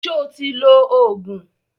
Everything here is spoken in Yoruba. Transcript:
Sọ ti lo Ògùn?